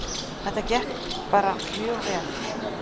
Þetta gekk bara mjög vel